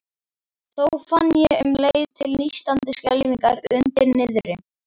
Þó fann ég um leið til nístandi skelfingar undir niðri.